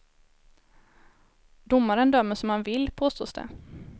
Domaren dömer som han vill, påstås det.